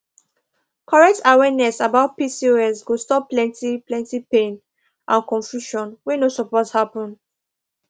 correct awareness about pcos go stop plenty plenty pain and confusion wey no suppose happen